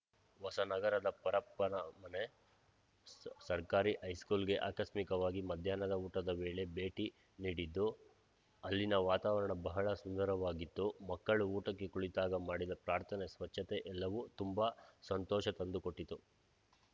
ಹೊಸನಗರದ ಪರಪ್ಪನಮನೆ ಸ ಸರ್ಕಾರಿ ಹೈಸ್ಕೂಲ್‌ಗೆ ಆಕಸ್ಮಿಕವಾಗಿ ಮಧ್ಯಾಹ್ನದ ಊಟದ ವೇಳೆ ಭೇಟಿ ನೀಡಿದ್ದು ಅಲ್ಲಿನ ವಾತಾವರಣ ಬಹಳ ಸುಂದರವಾಗಿತ್ತು ಮಕ್ಕಳು ಊಟಕ್ಕೆ ಕುಳಿತಾಗ ಮಾಡಿದ ಪ್ರಾರ್ಥನೆ ಸ್ವಚ್ಚತೆ ಎಲ್ಲವೂ ತುಂಬಾ ಸಂತೋಷ ತಂದುಕೊಟ್ಟಿತು